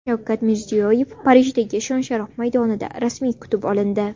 Shavkat Mirziyoyev Parijdagi Shon-sharaf maydonida rasmiy kutib olindi.